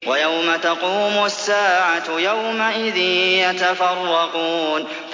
وَيَوْمَ تَقُومُ السَّاعَةُ يَوْمَئِذٍ يَتَفَرَّقُونَ